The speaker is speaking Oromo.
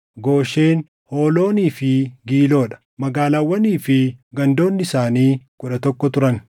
Gooshen, hooloonii fi Giiloo dha; magaalaawwanii fi gandoonni isaanii kudha tokko turan.